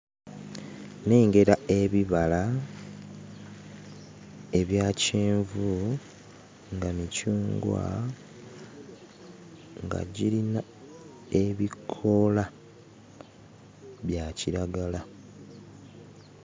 Nnengera ebibala ebya kyenvu nga micungwa, nga girina ebikoola bya kiragala.